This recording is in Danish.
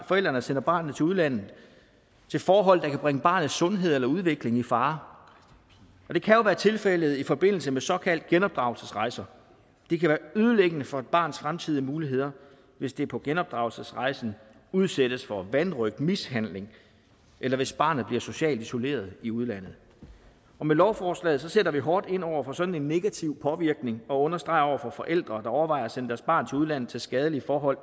forældrene sender barnet til udlandet til forhold der kan bringe barnets sundhed eller udvikling i fare det kan jo være tilfældet i forbindelse med såkaldte genopdragelsesrejser det kan være ødelæggende for et barns fremtidige muligheder hvis det på genopdragelsesrejsen udsættes for vanrøgt og mishandling eller hvis barnet bliver socialt isoleret i udlandet med lovforslaget sætter vi hårdt ind over for sådan en negativ påvirkning og understreger over for forældre der overvejer at sende deres barn til udlandet til skadelige forhold